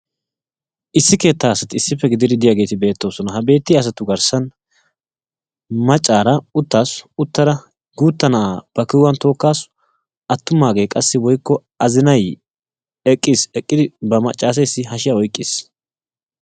Issi keettaa asati issippe gididi diyaageeti beettoosona ha beetiya asattu garssan maccara uttaasu uttada guutta na'a ba kiwuwaan tookkaasu attumaagee qassi woykko azinaay eqqis eqqidi ba maccasses hashshiyaa oyqqis.